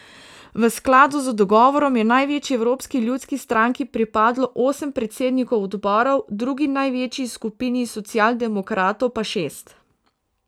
V skladu z dogovorom je največji Evropski ljudski stranki pripadlo osem predsednikov odborov, drugi največji skupini socialdemokratov pa šest.